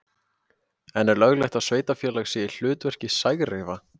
En er löglegt að sveitarfélag sé í hlutverki sægreifa?